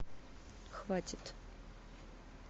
хватит